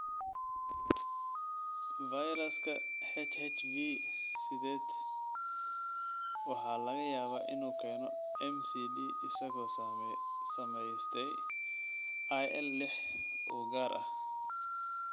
Fayraska HHV sideed waxa laga yaabaa inuu keeno MCD isagoo samaystay IL lix u gaar ah.